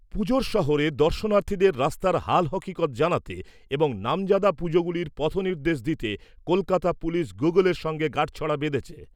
পুজোর শহরে দর্শনার্থীদের রাস্তার হাল হকিকত জানাতে এবং নামজাদা পুজোগুলির পথনির্দেশ দিতে কলকাতা পুলিশ গুগলের সঙ্গে গাঁটছড়া বেঁধেছে।